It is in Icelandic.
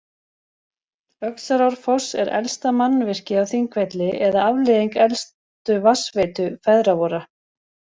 Öxarárfoss er elsta mannvirkið á Þingvelli eða afleiðing elstu vatnsveitu feðra vorra.